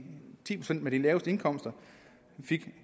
ti procent med de laveste indkomster